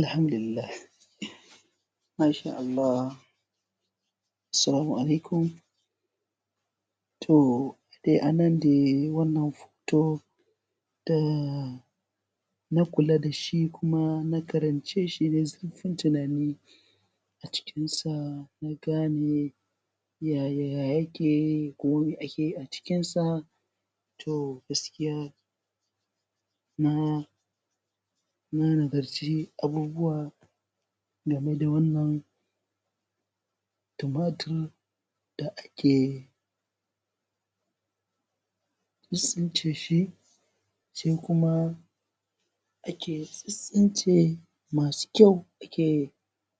Alhamdulillah Masha Allah Assalamu Alaikum toh dai anan dai wannan toh da na kula da shi kuma na karance shi da zirfin tunani na a cikin sa na gane yaya ake yi ko mai ake a cikin sa toh gaskiya na na nazarci abubuwa game da wannan tumatir da akeyi tsince shi sai kuma ake tsince masu kyau ake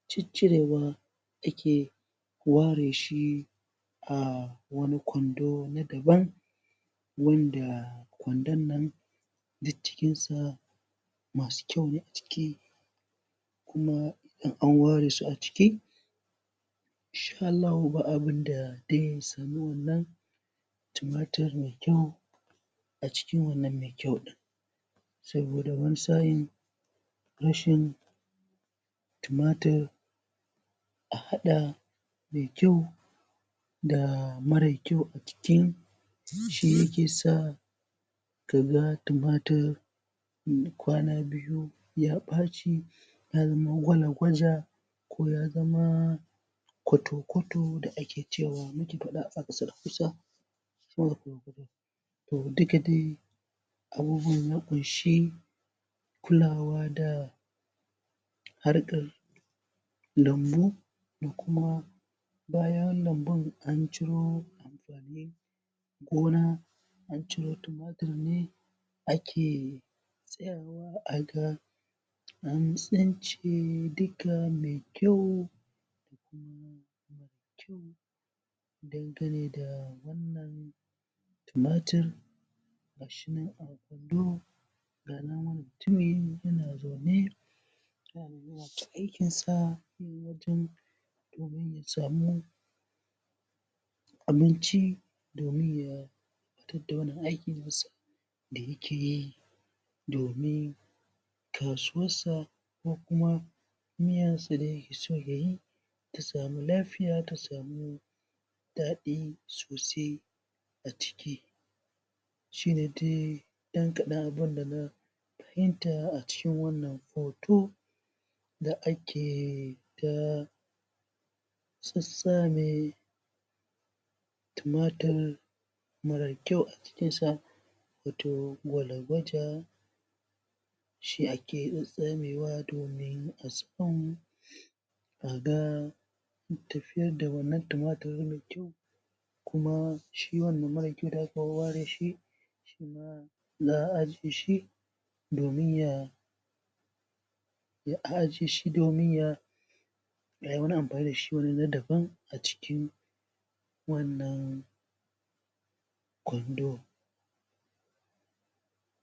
ciccire wanda ke ware shi a wani kwando na daban wanda a kwandon nan duk cikin sa masu kyau ne a ciki kuma an ware su a ciki in sha Allah ba abinda zai samu wannan tumatir mai kyau acikin wannan nai kyau din saboda wani sa'in rashin tumatir a hada mai kyau da mara kyau a cikin shi yake sa ka ga tumatir yayi kwana biyu ya ɓaci ya zama gwalagwaja ko ya zama koto-koto da ake cewa to duka dai abubuwan ya ƙunshi kulawa da harkar lambu da kuma kayan lambun an ciro gona an cire tumatiri a ke an tsince duka mai kyau yana zaune yana aikinsa samuwan abinci domin yayi tarda wani aikin na sa da yake yi domin kasuwar sa ko kuma samu lafiya da daɗi sosai shine dai ɗan kaɗan ɗin da zan fahimta a cikin wannan hoto da ake sassa tumatir mara kyau a kai sa gwalgwaja shi ake zabewa domin a ga tafiyar da wannan tumatirin kuma shi wannan da ware shi za a ajiye shi domin ya ya ajiye shi domin ya ayi wani amfani da shi na daban wannan kwando.